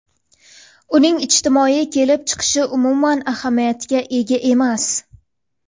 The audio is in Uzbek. uning ijtimoiy kelib chiqishi umuman ahamiyatga ega emas.